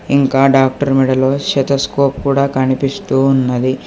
ఇంకా డాక్టర్ మెడలో శతస్కోప్ కూడా కనిపిస్తూ ఉన్నది.